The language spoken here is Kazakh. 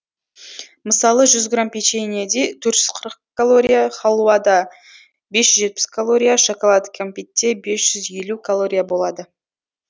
мысалы жүз грамм печеньеде төрт жүз қырық калория халуада бес жүз жетпіс калория шоколад кәмпитте бес жүз елу калория болады